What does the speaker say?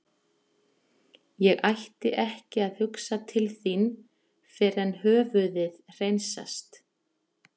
Ég ætti ekki að hugsa til þín fyrr en höfuðið hreinsast.